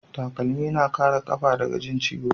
Takalmi na Kara kafa daga Jin ciwo